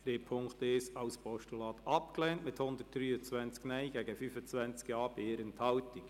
Sie haben den Punkt 1 als Postulat abgelehnt mit 123 Nein- gegen 25 Ja-Stimmen bei 1 Enthaltung.